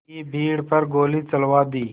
की भीड़ पर गोली चलवा दी